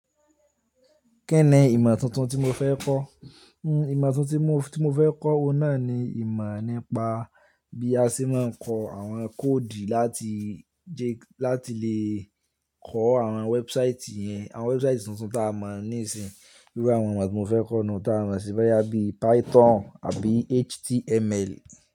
Kí ni ìmọ̀ tuntun tí mo fẹ́ kọ́? Hmm ìmọ̀ tuntun tí mo, tí mo fẹ́ kọ́ náà ni ìmọ̀ nípa bí a ṣe máa ń kọ àwọn kóòdù láti jẹ́ kí, láti lè kọ àwọn wẹ́ẹ́búsáìtì yẹn, àwọn wẹ́ẹ́búsáìtì tuntun ta a mọ̀ níìsín. Irú àwọn ìmọ̀ tí mo fẹ́ kọ́ náà ta a mọ̀ sí bẹ́ẹ̀ yá bí Python àbí HTML.